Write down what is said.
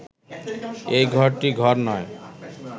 এই ঘরটি ঘর নয়